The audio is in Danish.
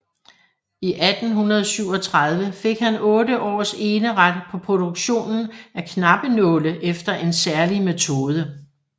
I 1837 fik han otte års eneret på produktionen af knappenåle efter en særlig metode